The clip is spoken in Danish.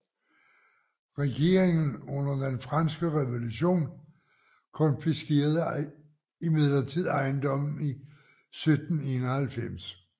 Regeringen under den franske revolution konfiskerede imidlertid ejendommen i 1791